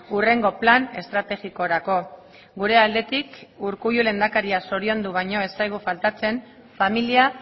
hurrengo plan estrategikorako gure aldetik urkullu lehendakaria zoriondu baino ez zaigu faltatzen familia